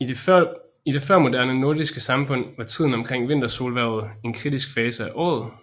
I det førmoderne nordiske samfund var tiden omkring vintersolhvervet en kritisk fase af året